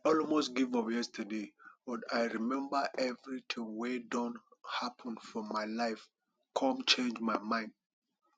i almost give up yesterday but i remember everything wey don happen for my life come change my mind